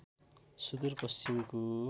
सुदूर पश्चिमको